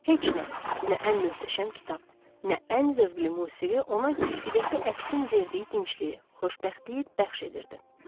Heç nə, nə ən möhtəşəm kitab, nə ən zövqlü musiqi ona güzgüdəki əksin verdiyi dincliyi, xoşbəxtliyi bəxş edirdi.